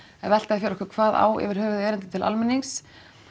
velta því fyrir okkur hvað á yfir höfuð erindi til almennings